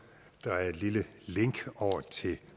er et lille link over til